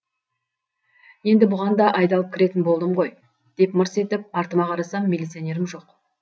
енді бұған да айдалып кіретін болдым ғой деп мырс етіп артыма қарасам милиционерім жоқ